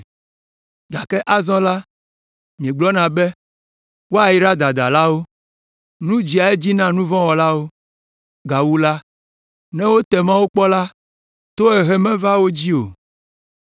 Gake azɔ la, míegblɔna be, ‘Woyraa dadalawo. Nu dzea edzi na nu vɔ̃ wɔlawo, gawu la, ne wote Mawu kpɔ la, tohehe mevaa wo dzi o.’